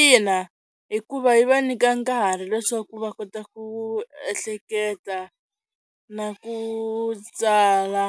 Ina hikuva yi va nyika nkarhi leswaku va kota ku ehleketa na ku tsala